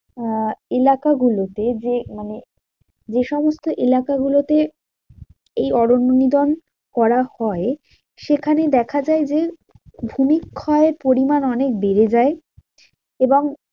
আহ এলাকাগুলোতে যে মানে যেসমস্ত এলাকাগুলোতে এই অরণ্য নিধন করা হয়, সেখানে দেখা যায় যে ভূমিক্ষয়ের পরিমান অনেক বেড়ে যায় এবং